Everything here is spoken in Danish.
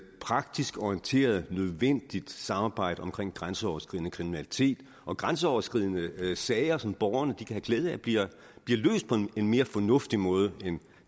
praktisk orienteret nødvendigt samarbejde om grænseoverskridende kriminalitet og grænseoverskridende sager som borgerne kan have glæde af bliver løst på en en mere fornuftig måde end